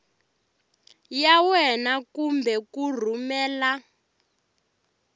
ya wena kumbe ku rhumela